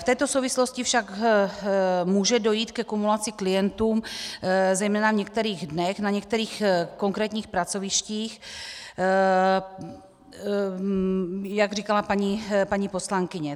V této souvislosti však může dojít ke kumulaci klientů zejména v některých dnech na některých konkrétních pracovištích, jak říkala paní poslankyně.